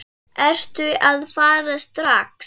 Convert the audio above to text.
Ertu að fara strax?